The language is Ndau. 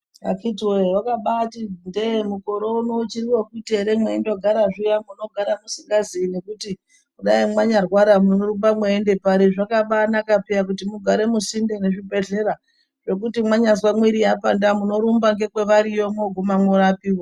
Akhiti woye, wakabati ndee mukore uno uchiri we kuti ere mweindogara zviya usingaziyi, ngekuti dai wanya rwara munorumba uchienda pari, zvakabanaka peya kuti mugare musinde meZvibhehlera, zvekuti mwanyazwa mwiri yapanda munorumba nekwaariyo mwoguma mworapiwa.